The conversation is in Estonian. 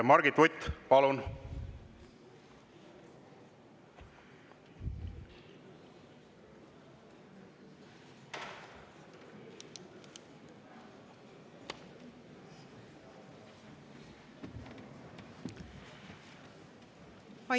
Margit Vutt, palun!